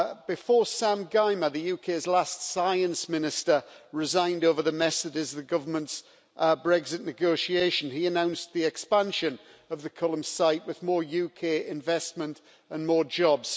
Before Mr Sam Gyimah, the UK's last Science Minister, resigned over the mess that is the government's Brexit negotiation, he announced the expansion of the Culham site, with more UK investment and more jobs.